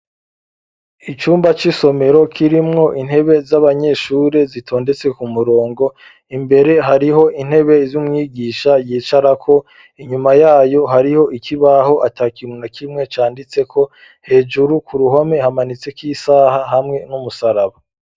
icumba c'isomero kirimwo intebe z'abanyeshuri zitondetse ku murongo, imbere hariho intebe z'umwigisha yicarako inyuma yayo hariho ikibaho atakintu na kimwe canditseko hejuru ku ruhome hamanitseko isaha hamwe n'umusaraba.